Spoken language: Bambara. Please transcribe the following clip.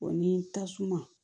ni tasuma